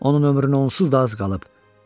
Onun ömrünə onsuz da az qalıb.